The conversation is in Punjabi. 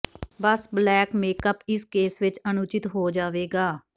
ਬਸ ਬਲੇਕ ਮੇਕਅਪ ਇਸ ਕੇਸ ਵਿਚ ਅਣਉਚਿਤ ਹੋ ਜਾਵੇਗਾ